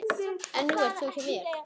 En nú ert þú hjá mér.